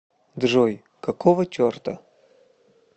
джой какого черта